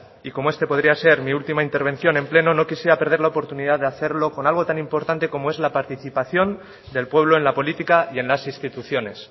y como esta podría ser mi última intervención en pleno no quisiera perder la oportunidad de hacerlo con algo tan importante como es la participación del pueblo en la política y en las instituciones